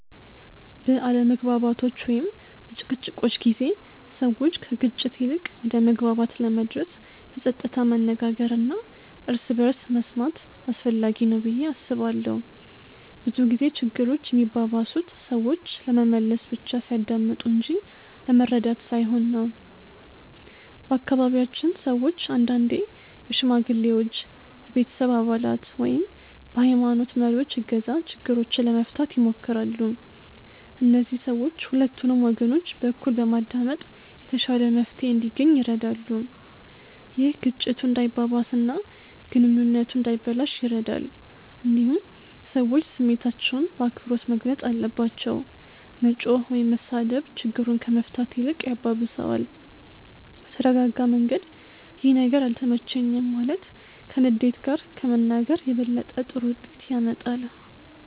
በአለመግባባቶች ወይም በጭቅጭቆች ጊዜ ሰዎች ከግጭት ይልቅ ወደ መግባባት ለመድረስ በጸጥታ መነጋገር እና እርስ በርስ መስማት አስፈላጊ ነው ብዬ አስባለሁ። ብዙ ጊዜ ችግሮች የሚባባሱት ሰዎች ለመመለስ ብቻ ሲያዳምጡ እንጂ ለመረዳት ሳይሆን ነው። በአካባቢያችን ሰዎች አንዳንዴ በሽማግሌዎች፣ በቤተሰብ አባላት ወይም በሀይማኖት መሪዎች እገዛ ችግሮችን ለመፍታት ይሞክራሉ። እነዚህ ሰዎች ሁለቱንም ወገኖች በእኩል በማዳመጥ የተሻለ መፍትሄ እንዲገኝ ይረዳሉ። ይህ ግጭቱ እንዳይባባስ እና ግንኙነቱ እንዳይበላሽ ይረዳል። እንዲሁም ሰዎች ስሜታቸውን በአክብሮት መግለጽ አለባቸው። መጮህ ወይም መሳደብ ችግሩን ከመፍታት ይልቅ ያባብሰዋል። በተረጋጋ መንገድ “ይህ ነገር አልተመቸኝም” ማለት ከንዴት ጋር ከመናገር የበለጠ ጥሩ ውጤት ያመጣል።